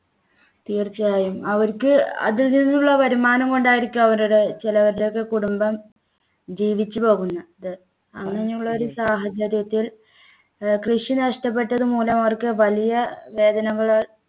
തീർച്ചയായും അവർക്ക് അതിൽ നിന്നുള്ള വരുമാനം കൊണ്ടായിരിക്കും അവരുടെ ചെലവരുടെയൊക്കെ കുടുംബം ജീവിച്ചു പോകുന്നത് അങ്ങനെയുള്ള ഒരു സാഹചര്യത്തിൽ ഏർ കൃഷി നഷ്ടപ്പെട്ടതുമൂലം അവർക്ക് വലിയ വേദനകൾ